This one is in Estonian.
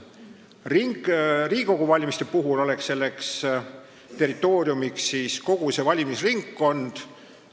Riigikogu valimisel oleks selleks territooriumiks kogu valimisringkond.